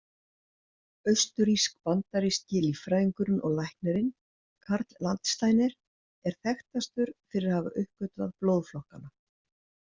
Austurrísk-bandaríski líffræðingurinn og læknirinn Karl Landsteiner er þekktastur fyrir að hafa uppgötvað blóðflokkana.